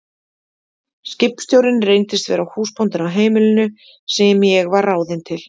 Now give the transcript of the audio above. Skipstjórinn reyndist vera húsbóndinn á heimilinu sem ég var ráðin til.